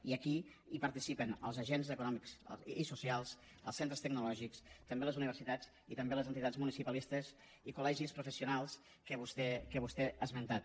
i aquí hi participen els agents econòmics i socials els centres tecnològics també les universitats i també les entitats municipalistes i col·legis professionals que vostè ha esmentat